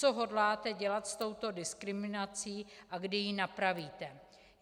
Co hodláte dělat s touto diskriminací a kdy ji napravíte?